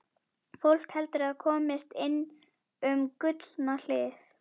Fólk heldur að það komist inn um Gullna hliðið.